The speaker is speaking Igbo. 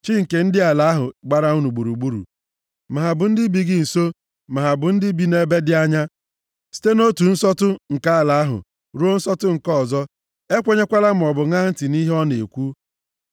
chi nke ndị ala ahụ gbara unu gburugburu, ma ha bụ ndị bi gị nso ma ha bụ ndị bi nʼebe dị anya, site nʼotu nsọtụ nke ala ahụ ruo nsọtụ nke ọzọ),